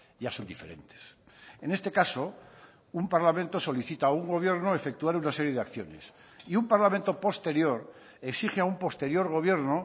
ya son diferentes en este caso un parlamento solicita a un gobierno efectuar una serie de acciones y un parlamento posterior exige a un posterior gobierno